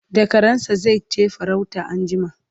da karansa zaije farauta anjima